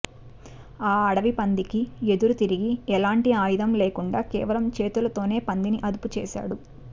ఆ అడవి పందికి ఎదురుతిరిగి ఎలాంటి ఆయుధం లేకుండా కేవలం చేతులతోనే పందిని అదుపుచేశాడు